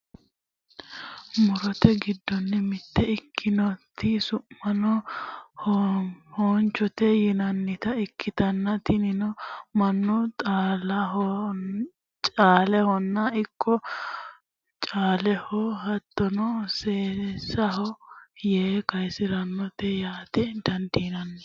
murote giddonni mitte ikkitinoti su'maseno hoommichote yinannita ikkitanna, tinino mannu xaaulahono ikko caaleho hattono seesaho yee kaasirannote yaate dandiinanni .